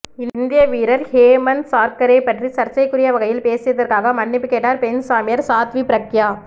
இந்திய வீரர் ஹேமந்த் சார்கரே பற்றி சர்ச்சைக்குரிய வகையில் பேசியதற்காக மன்னிப்பு கேட்டார் பெண் சாமியார் சாத்வி பிரக்யா